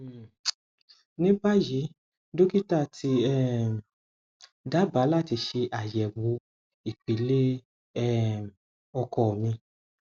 um ní báyìí dókítà ti um dábàá láti ṣe àyẹwò ìpele um ọkọ mi